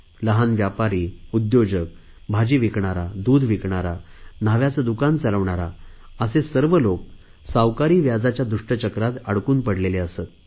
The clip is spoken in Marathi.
लहान व्यापारी उद्योजक भाजी विकणारा दूध विकणारा न्हाव्याचे दुकान चालवणारा असे सर्व लोक सावकारी व्याजाच्या दुष्ट चक्रात अडकून पडलेले असत